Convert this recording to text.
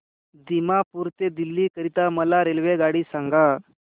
दिमापूर ते दिल्ली करीता मला रेल्वेगाडी सांगा